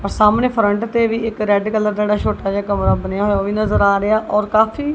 ਪਰ ਸਾਹਮਣੇ ਫਰੰਟ ਤੇ ਵੀ ਇੱਕ ਰੈਡ ਕਲਰ ਦਾ ਜਿਹੜਾ ਛੋਟਾ ਜਿਹਾ ਕਮਰਾ ਬਣਿਆ ਉਹ ਵੀ ਨਜ਼ਰ ਆ ਰਿਹਾ ਔਰ ਕਾਫੀ--